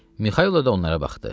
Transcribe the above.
Mixaylov da onlara baxdı.